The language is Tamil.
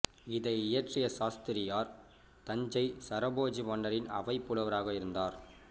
இதை இயற்றிய சாஸ்திரியார் தஞ்சை சரபோஜி மன்னரின் அவைப் புலவராக இருந்தார்